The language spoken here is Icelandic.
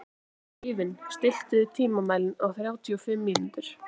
Eivin, stilltu tímamælinn á þrjátíu og fimm mínútur.